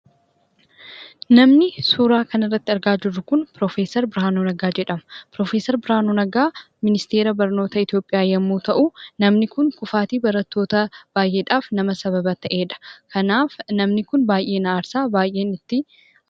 Namni suuraa kana irratti argaa jirru kun Piroofeesar Birhaanuu Naggaa jedhamu. Piroofeesar Birhaanuu Naggaa Ministeera barnoota Itoophiyaa yommuu ta'u, namni kun kufaatii barattoota baay'eedhaaf nama sababa ta'eedha. Kanaaf namni kun baay'ee na aarsa.